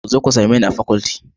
Ku zo ku same ni a faculty